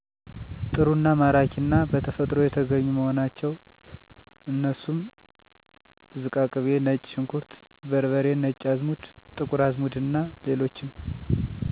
ጥሩ አና ማራኪ አና በተፈጥሮ የተገኙ መሆናቸው። አነሱም ዝቃቅቤ፣ ነጭ ሽንኩርት በርበሬ፣ ነጭ አዘሙድ፣ ጥቁር አዝሙድ አና ሌሎችም